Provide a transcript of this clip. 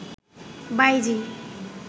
বাঈজী